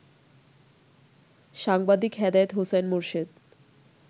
সাংবাদিক হেদায়েত হোসাইন মোরশেদ